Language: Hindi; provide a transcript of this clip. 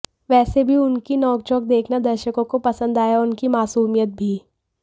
वैसे भी उनकी नोंकझोंक देखना दर्शकों को पसंद आया और उनकी मासूमियत भी